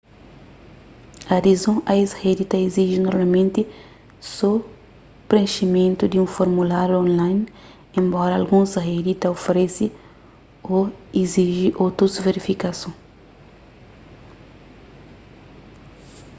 adizon a es redi ta iziji normalmenti so prenximentu di un formuláriu online enbora alguns redi ta oferese ô iziji otus verifikason